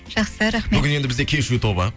жақсы рахмет бүгін енді бізде кешью тобы